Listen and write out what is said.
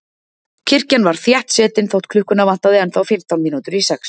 Kirkjan var þéttsetin þótt klukkuna vantaði ennþá fimmtán mínútur í sex.